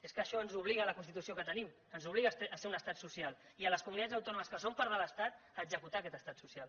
és que això ens ho obliga la constitució que tenim ens obliga a ser un estat social i a les comunitats autònomes que són part de l’estat a executar aquest estat social